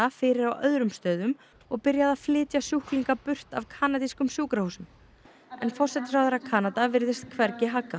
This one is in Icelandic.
fyrir á öðrum stöðum og byrjað að flytja sjúklinga burt af kanadískum sjúkrahúsum en forsætisráðherra Kanada virðist hvergi haggað